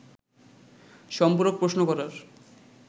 সম্পূরক প্রশ্ন করার